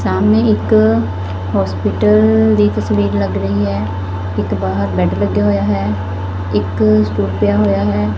ਸਾਮਨੇ ਇੱਕ ਹੋਸਪਿਟਲ ਦੀ ਤਸਵੀਰ ਲੱਗ ਰਹੀ ਹੈ ਇਕ ਬਾਹਰ ਬੈਡ ਲੱਗਿਆ ਹੋਇਆ ਹੈ ਇੱਕ ਸਟੂਲ ਪਿਆ ਹੋਇਆ ਹੈ।